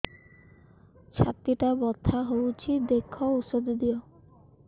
ଛାତି ଟା ବଥା ହଉଚି ଦେଖ ଔଷଧ ଦିଅ